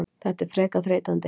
Þetta er frekar þreytandi.